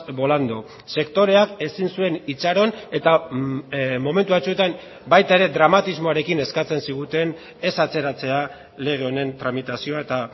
volando sektoreak ezin zuen itxaron eta momentu batzuetan baita ere dramatismoarekin eskatzen ziguten ez atzeratzea lege honen tramitazioa eta